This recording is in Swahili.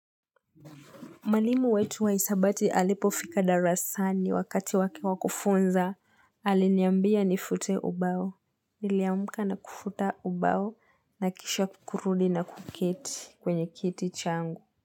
Mwalimu wetu wa hisabati alipofika darasani wakati wake wa kufunza, aliniambia nifute ubao. Niliamka na kufuta ubao, nakisha kurudi na kuketi kwenye kiti changu.